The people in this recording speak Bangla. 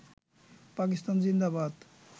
পাকিস্তান জিন্দাবাদ